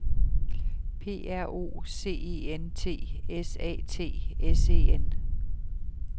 P R O C E N T S A T S E N